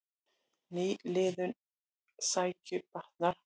Nýliðun rækju batnar